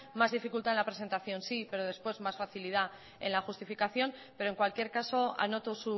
más dificultad en la presentación sí pero después más facilidad en la justificación pero en cualquier caso anoto